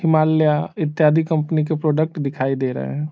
हिमालया इत्यादि कंपनी के प्रोडक्ट दिखाई दे रहें हैं।